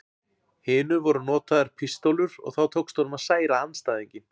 hinu voru notaðar pístólur og þá tókst honum að særa andstæðinginn.